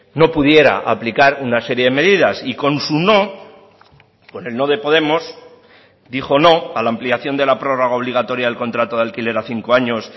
no pudiera aplicar una serie de medidas y con su no con el no de podemos dijo no a la ampliación de la prórroga obligatoria del contrato de alquiler a cinco años